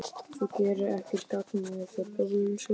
Þú gerir ekkert gagn með þessu bölsóti,